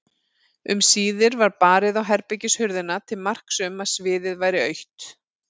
Um síðir var barið á herbergishurðina til marks um að sviðið væri autt.